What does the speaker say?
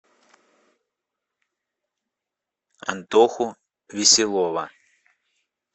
антоху веселова